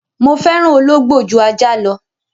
Mo fẹ́ràn ológbò ju ajá lọ.